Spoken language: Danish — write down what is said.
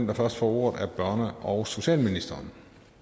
der først får ordet er børne og socialministeren